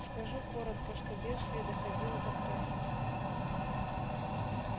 скажу коротко что бедствие доходило до крайности